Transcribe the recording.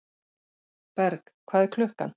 Berg, hvað er klukkan?